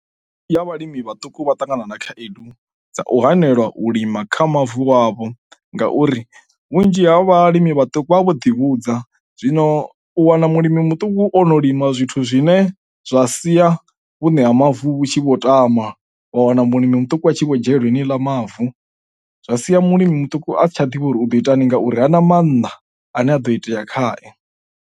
Ya vhalimi vhaṱuku vha ṱangana na khaedu dza u hanelwa u lima kha mavu wavho ngauri vhunzhi ha vhalimi vhaṱuku vha vha vho ḓivhudza. Zwino u wana mulimi muṱuku o no lima zwithu zwine zwa sia vhuṋe ha mavu vhu tshi vho tama, wa wana mulimi muṱuku a tshi vho dzhenelwa yeneyiḽa mavu. Zwa sia mulimi muṱuku a si tsha ḓivhe uri u ḓo ita hani ngauri ha na mannḓa ane a ḓo itea khae.